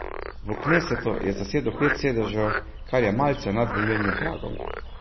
V knesetu je zasedel pet sedežev, kar je malce nad volilnim pragom.